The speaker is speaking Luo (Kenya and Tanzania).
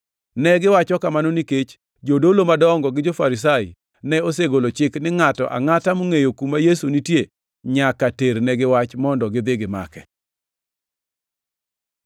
Negiwacho kamano nikech jodolo madongo gi jo-Farisai ne osegolo chik ni ngʼato angʼata mongʼeyo kuma Yesu nitie nyaka ternegi wach mondo gidhi gimake.